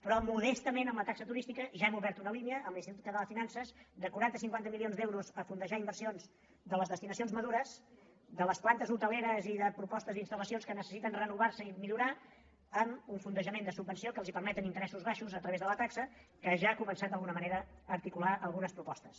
però modestament amb la taxa turística ja hem obert una línia amb l’institut català de finances de quaranta cinquanta milions d’euros per fondejar inversions de les destinacions madures de les plantes hoteleres i de propostes d’instal·lacions que necessiten renovar se i millorar amb un fondejament de subvenció que els permet tenir interessos baixos a través de la taxa que ja ha començat d’alguna manera a articular algunes propostes